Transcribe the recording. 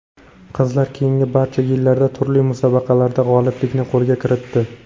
Qizlar keyingi barcha yillarda turli musobaqalarda g‘oliblikni qo‘lga kiritdi.